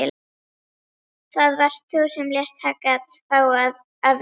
Það varst þú sem lést taka þá af lífi.